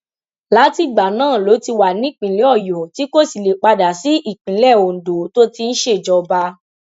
látìgbà náà ló ti wà nípìnlẹ ọyọ tí kò sì lè padà sí ìpínlẹ ondo tó ti ń ṣèjọba